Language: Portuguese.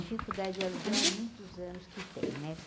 Dificuldade de aluguel há muitos anos que tem, né?